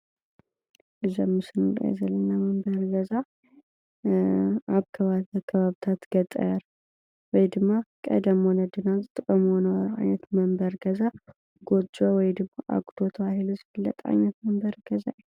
እዚ ኣብ ምስሊ ንሪኦ ዘለና መንበሪ ገዛ ኣብ ከባብታት ገጠር ወይ ድማ ቀደም ወለድና ዝጥቀምዎ ዝነበሩ ዓይነት መንበሪ ገዛ ጎጃ ወይ ድማ ኣጉዶ ተባሂሉ ብዝፍለጥ ዓይነት ገዛ እዩ ።